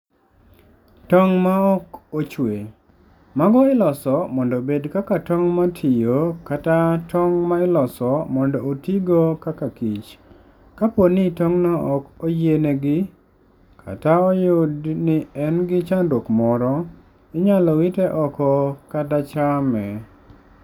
Tong' Maok Ochwe: Mago iloso mondo obed kaka tong' ma tiyo, kata tong' ma iloso mondo otigo kaka kich. Kapo ni tong'no ok oyienegi, kata oyud ni en gi chandruok moro, inyalo wite oko kata chame.